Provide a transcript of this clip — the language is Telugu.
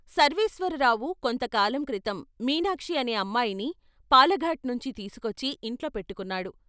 సర్వేశ్వరరావు కొంత కాలం క్రితం మీనాక్షి అనే అమ్మాయిని పాలఘాట్ నుంచి తీసుకొచ్చి ఇంట్లో పెట్టుకొన్నాడు.